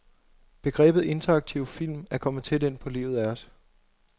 Begrebet interaktiv film er kommet tæt ind på livet af os.